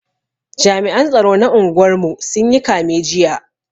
Jami'an tsaro na unguwar mu sun yi kame jiya